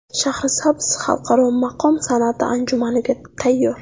Shahrisabz Xalqaro maqom san’ati anjumaniga tayyor.